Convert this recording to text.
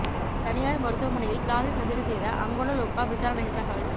தனியாா் மருத்துவமனையில் plastic surgery செய்த அங்கொட லொக்கா விசாரணையில் தகவல்